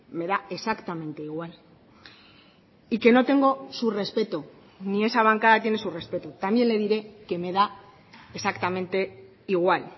me da exactamente igual y que no tengo su respeto ni esa bancada tiene su respeto también le diré que me da exactamente igual